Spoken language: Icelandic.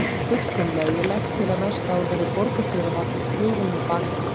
Fullkomlega, ég legg til að næsta ár verði borgarstjóra varpað úr flugvél með bakpoka.